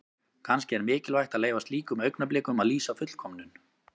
Kannski er mikilvægt að leyfa slíkum augnablikum að lýsa fullkomnun.